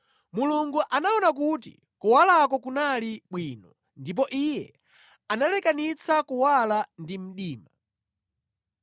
Mulungu anaona kuti kuwalako kunali bwino ndipo Iye analekanitsa kuwala ndi mdima.